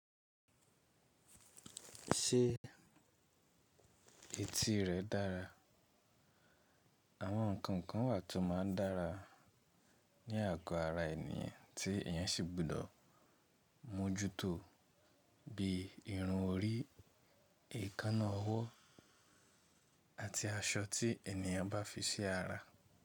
Ṣé etí rẹ̀ dára? Àwọn nǹkan kan wà tó máa ń dára ní àgọ́ ara ènìyàn tí èèyàn sì gbọ́dọ̀ mójútó bíi irun orí, èékánná ọwọ́ àti aṣọ tí ènìyàn bá fi sí ara.